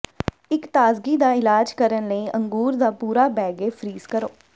ਇੱਕ ਤਾਜ਼ਗੀ ਦਾ ਇਲਾਜ ਕਰਨ ਲਈ ਅੰਗੂਰ ਦਾ ਪੂਰਾ ਬੈਗੇ ਫ੍ਰੀਜ਼ ਕਰੋ